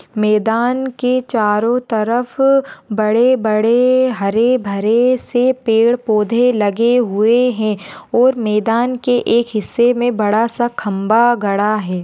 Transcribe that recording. मैदान के चारो तरफ बड़े बड़े हरे भरे से पेड़ पौंधे लगे हुए है और मैदान के एक हिस्से में बडा सा खंबा गडा है।